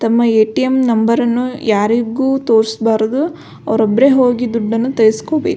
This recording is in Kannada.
ತಮ್ಮ ಏ.ಟಿ.ಎಮ್ ನಂಬರನ್ನು ಯಾರಿಗು ತೋರಿಸ್ಬಾರ್ದು ಅವ್ರೊಬ್ರೆ ಹೋಗಿ ದುಡ್ಡನ್ನು ತೋರ್ಸ್ಕೋಬೇಕು.